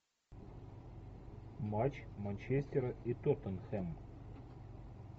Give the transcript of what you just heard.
матч манчестера и тоттенхэма